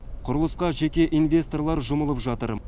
құрылысқа жеке инвесторлар жұмылып жатыр